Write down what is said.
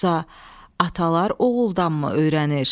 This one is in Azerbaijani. Yoxsa atalar oğuldanmı öyrənir?